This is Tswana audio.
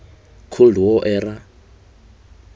cold war era